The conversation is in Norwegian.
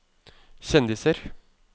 kjendiser